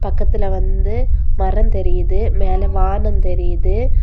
பக்கத்துல வந்து மரம் தெரியுது. மேல வானம் தெரியுது.